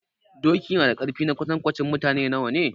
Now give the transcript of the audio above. Doki na da ƙarfi na kwatankwacin mutane nawa ne?